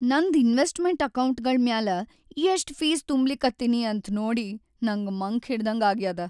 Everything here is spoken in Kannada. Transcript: ನನ್ದ್‌ ಇನ್ವೆಸ್ಟ್‌ಮೆಂಟ್‌ ಅಕೌಂಟ್ಗಳ್‌ ಮ್ಯಾಲ ಎಷ್ಟ್‌ ಫೀಸ್‌ ತುಂಬ್ಲಿಕತ್ತೀನಿ ಅಂತ್ ನೋಡಿ‌ ನಂಗ್ ಮಂಕ್ ಹಿಡದ್ಹಂಗಾಗ್ಯಾದ.